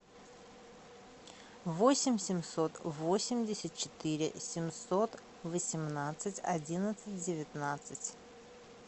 восемь семьсот восемьдесят четыре семьсот восемнадцать одиннадцать девятнадцать